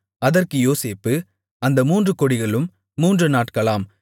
அதற்கு யோசேப்பு அந்த மூன்று கொடிகளும் மூன்று நாட்களாம்